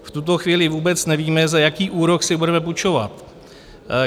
V tuto chvíli vůbec nevíme, za jaký úrok si budeme půjčovat." -